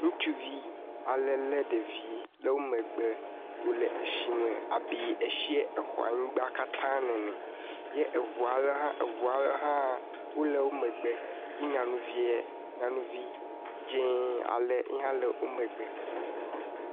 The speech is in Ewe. Ŋutsuvi ale lé ɖevi ɖe wo megbe le eshime abe eshiɛ exɔ anyigba katãa nene. Yɛ eŋua le hã, eŋua le hã wole wo megbe. Yɛ nyanuviɛ, nyanuvi dzẽee ale yi hã le wo megbe.